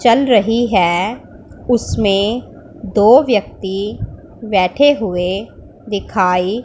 चल रही हैं उसमें दो व्यक्ति बैठे हुएं दिखाई--